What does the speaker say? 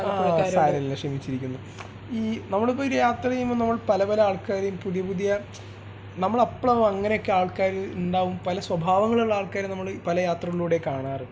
ആ സാരമില്ല ക്ഷമിച്ചിരിക്കുന്നു ഈ നമ്മൾ ഇപ്പോൾ ഒരു യാത്ര ചെയ്യുമ്പോൾ നമ്മൾ പലപല ആൾക്കാരേം പുതിയ പുതിയ നമ്മള് അപ്പോൾ ആകും അങ്ങനെയൊക്കെ ആൾക്കാർ ഇണ്ടാകും പല സ്വഭാവങ്ങൾ ഉള്ള ആൾക്കാർ നമ്മൾ പല യാത്രകളിലുടേം കാണാറ്